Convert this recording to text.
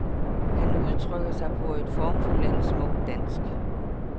Han udtrykker sig på et formfuldendt smukt dansk.